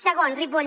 segon ripoll